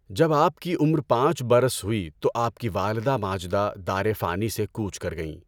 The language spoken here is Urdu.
جب آپ کی عمر پانچ برس ہوئی تو آپ کی والده ماجده دار فانی سے کوچ کر گئیں۔